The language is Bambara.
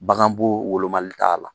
Baganbo wolomali t'a la.